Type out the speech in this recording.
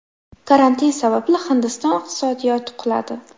Karantin sababli Hindiston iqtisodiyoti quladi.